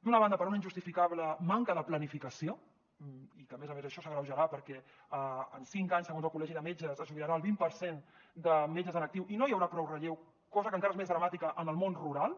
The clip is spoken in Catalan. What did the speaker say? d’una banda per una injustificable manca de planificació que a més a més s’agreujarà perquè en cinc anys segons el col·legi de metges es jubilarà el vint per cent de metges en actiu i no hi haurà prou relleu cosa que encara és més dramàtica en el món rural